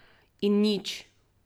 In nič.